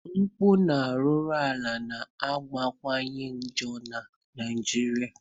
Mpụ na arụrụ ala na akawanye njọ na Naijiria.